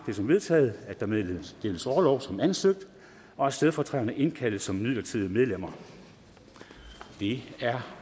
det som vedtaget at der meddeles orlov som ansøgt og at stedfortræderne indkaldes som midlertidige medlemmer det er